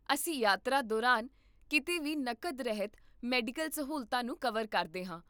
ਅਸੀਂ ਯਾਤਰਾ ਦੌਰਾਨ ਕੀਤੇ ਵੀ ਨਕਦ ਰਹਿਤ ਮੈਡੀਕਲ ਸਹੂਲਤਾਂ ਨੂੰ ਕਵਰ ਕਰਦੇ ਹਾਂ